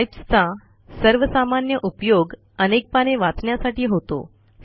pipes चा सर्वसामान्य उपयोग अनेक पाने वाचण्यासाठी होतो